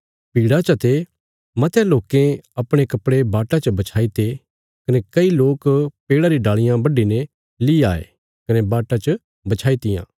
भीड़ा चा ते मतयां लोकें अपणे कपड़े बाटा च बछाईते कने कई लोक पेड़ा री डाल़ियां बड्डीने ली आये कने बाटा च बछाई तियां